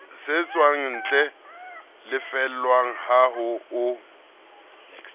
setswantle le lefellwang ha o